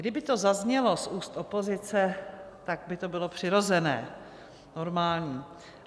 Kdyby to zaznělo z úst opozice, tak by to bylo přirozené, normální.